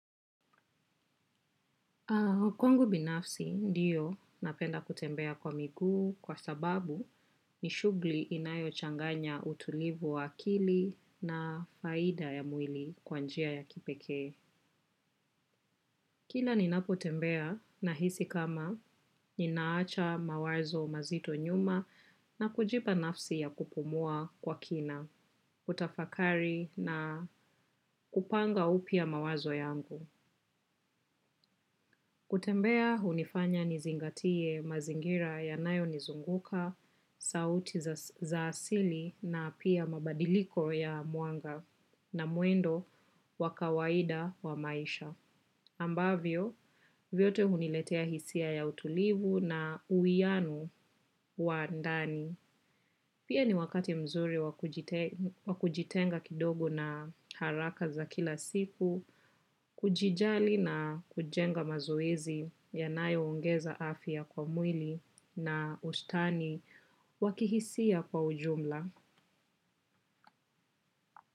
Kwangu binafsi ndiyo napenda kutembea kwa miguu kwa sababu ni shughuli inayochanganya utulivu wa akili na faida ya mwili kwa njia ya kipeke. Kila ninapotembea nahisi kama ninaacha mawazo mazito nyuma na kujipa nafsi ya kupumua kwa kina, kutafakari na kupanga upya mawazo yangu. Kutembea hunifanya nizingatie mazingira yanayo nizunguka, sauti za asili na pia mabadiliko ya mwanga na mwendo wa kawaida wa maisha. Ambavyo, vyote huniletea hisia ya utulivu na uwiano wa ndani. Pia ni wakati mzuri wa kujitenga kidogo na haraka za kila siku, kujijali na kujenga mazoezi yanayongeza afya kwa mwili na ustani wa kihisia kwa ujumla.